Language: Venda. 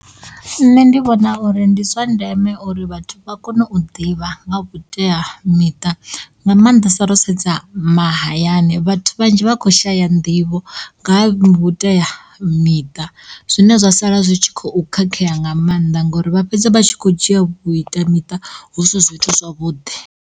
Nṋe ndi vhona uri ndi zwa ndeme uri vhathu vha kone u ḓivha nga vhuteamiṱa nga mannḓesa ro sedza mahayani vhathu vhanzhi vha kho shaya nḓivho nga vhuteamiṱa zwine zwa sala zwi tshi khou khakhea nga mannḓa ngori vha fhedza vha tshi kho dzhia vhuteamiṱa husi zwithu zwavhuḓi.